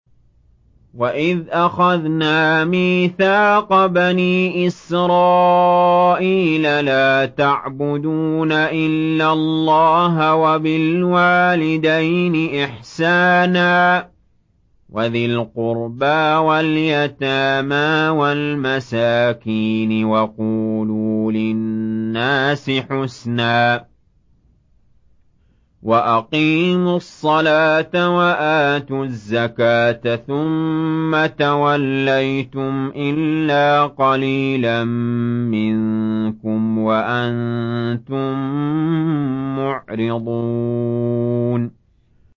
وَإِذْ أَخَذْنَا مِيثَاقَ بَنِي إِسْرَائِيلَ لَا تَعْبُدُونَ إِلَّا اللَّهَ وَبِالْوَالِدَيْنِ إِحْسَانًا وَذِي الْقُرْبَىٰ وَالْيَتَامَىٰ وَالْمَسَاكِينِ وَقُولُوا لِلنَّاسِ حُسْنًا وَأَقِيمُوا الصَّلَاةَ وَآتُوا الزَّكَاةَ ثُمَّ تَوَلَّيْتُمْ إِلَّا قَلِيلًا مِّنكُمْ وَأَنتُم مُّعْرِضُونَ